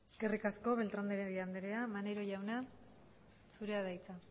eskerrik asko beltrán de heredia andrea maneiro jauna zurea da hitza